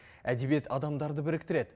әдебиет адамдарды біріктіреді